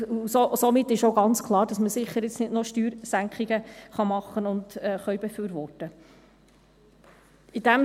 Somit ist auch ganz klar, dass man jetzt sicher nicht noch Steuersenkungen machen und befürworten kann.